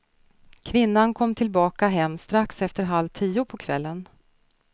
Kvinnan kom tillbaka hem strax efter halv tio på kvällen.